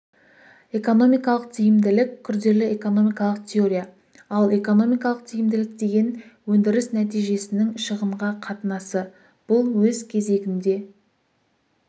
экономикалық тиімділік күрделі экономикалық теория ал экономикалық тиімділік деген өндіріс нәтижесінің шығынға қатынасы бұл өз кезегінде